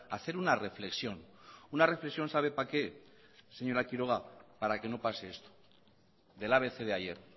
hacer una reflexión una reflexión sabe para qué señor quiroga para que no pase esto del abc de ayer